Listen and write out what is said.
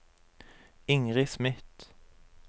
Ingrid Smith